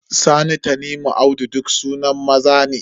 Sani, Tanimu, Audu duk sunan maza ne.